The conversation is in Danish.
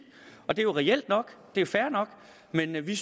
det er jo reelt nok det er fair nok men vi